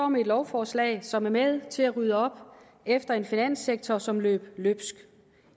med et lovforslag som er med til at rydde op efter en finanssektor som løb løbsk